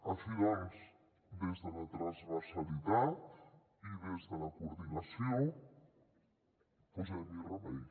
així doncs des de la transversalitat i des de la coordinació posem hi remei